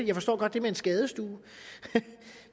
jeg forstår godt det med en skadestue